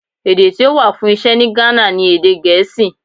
Èdè tí ó wà fún Iṣẹ́ ní Ghana ni èdè Gèésì.